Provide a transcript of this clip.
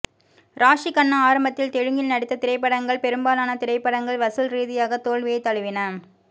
ராஷி கண்ணா ஆரம்பத்தில் தெலுங்கில் நடித்த திரைப்படங்கள் பெரும்பாலான திரைப்படங்கள் வசூல் ரீதியாக தோல்வியைத் தழுவின